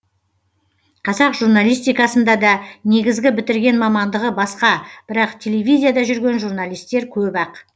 қазақ журналистикасында да негізгі бітірген мамандығы басқа бірақ телевизияда жүрген журналистер көп ақ